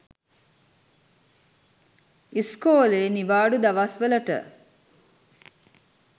ඉස්කෝලේ නිවාඩු දවස්වලට